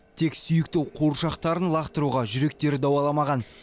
тек сүйікті қуыршақтарын лақтыруға жүректері дауаламаған